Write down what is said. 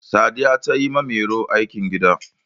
sadiya ta yi wa mairo aikin gida